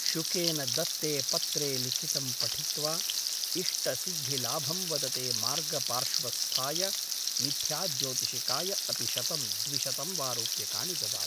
Shukkeien दत्ते पत्रे लिखितं पठित्वा इष्टसिद्धिलाभं वदते मार्गपार्श्वस्थाय मिथ्याज्योतिषिकाय अपि शतं द्विशतं वा रूप्यकाणि ददाति ।